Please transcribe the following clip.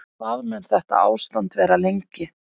En hvað mun þetta ástand vara lengi?